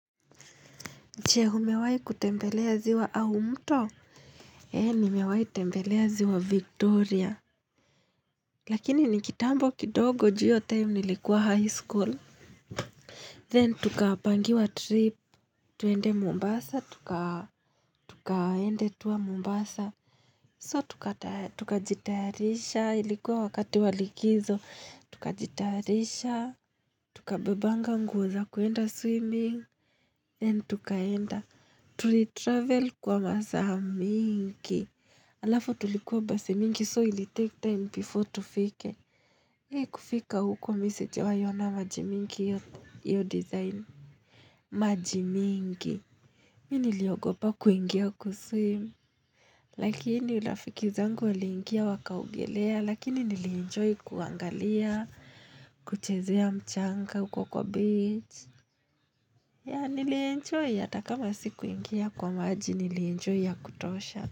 Che, humewai kutembelea ziwa au mto? Ee, nimewai tembelea ziwa Victoria. Lakini ni kitambo kidogo juu iyo time nilikuwa high school. Then, tukapangiwa trip tuende Mombasa tuka Tukaende tour Mombasa. So tukata tukajitarisha. Ilikuwa wakati wa likizo. Tukajitarisha. Tuka bebanga nguo za kuenda swimming. Then, tukaenda. Tuli travel kwa masaa mingi. Alafu tulikuwa basi mingi, so ili take time before tufike. Hei kufika huko mi sijawai ona maji mingi iyo iyo design. Maji mingi. Mi niliogopa kuingia kuswim. Lakini rafiki zangu waliingia wakaogelea, lakini nilienjoy kuangalia, kuchezea mchanga huko kwa beach. Ya nilienjoy, ata kama sikuingia kwa maji nilienjoy ya kutosha.